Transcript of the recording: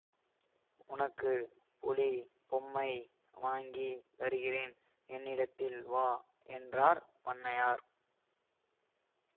உனக்கு புலி மொம்மை வாங்கித் தருகிறேன் என்னிடத்தில் வா என்றார் பண்ணையார்